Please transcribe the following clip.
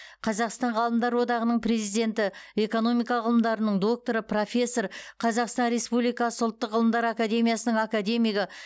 қазақстан ғалымдар одағының президенті экономика ғылымдарының докторы профессор қазақстан республикасы ұлттық ғылымдар академиясының академигі